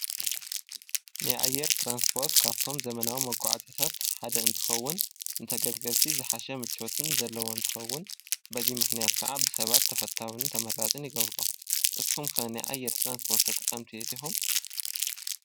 ናይ ኣየር ትራንስፖርት ካብቶም ዘመናዊ መጓዓዝታት ሓደ እንትኸውን፣ ንተገልገልቲ ዝሓሸ ምቾትን ዘለዎ እንትኸውን፣ በዚ ምኽንያት ከኣ ብሰባት ተፈታውን ተመራፅን ይገብሮ። ንስኹም ከ ናይ ኣየር ትራንስፖርት ተጠቀምቲ ዲኹም?